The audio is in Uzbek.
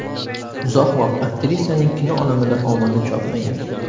Uzoq vaqt aktrisaning kino olamida omadi chopmagan.